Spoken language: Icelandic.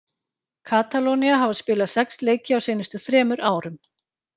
Katalónía hafa spilað sex leiki á seinustu þremur árum.